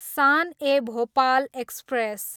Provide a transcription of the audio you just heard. San e Bhopal express